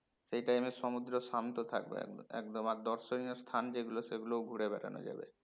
সেই time এ সমুদ্র শান্ত থাকবে একদম আর দর্শণীয় স্থান যেগুলো সেগুলোও ঘুরে বেড়ানো যাবে